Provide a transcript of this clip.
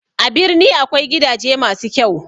A birni akwai gidaje masu kyau